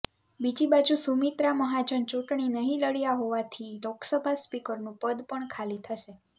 બીજી બાજુ સુમિત્રા મહાજન ચૂંટણી નહીં લડ્યાં હોવાથી લોકસભા સ્પીકરનું પદ પણ ખાલી થશે